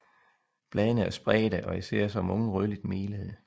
Bladene er spredte og især som unge rødligt melede